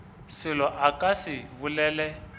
selo a ka se bolele